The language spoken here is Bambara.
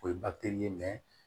O ye ye